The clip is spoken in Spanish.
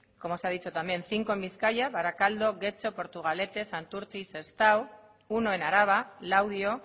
como se ha dicho también cinco en bizkaia barakaldo getxo portugalete santurtzi y sestao uno en araba laudio